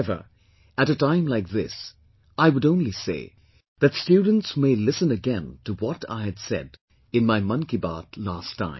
However, at a time like this I would only say that students may listen again to what I had said in my 'Mann Ki Baat' last time